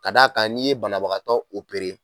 Ka d'a kan n'i ye banabagatɔ opere